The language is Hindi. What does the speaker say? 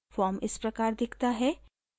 फॉर्म इस प्रकार दिखता है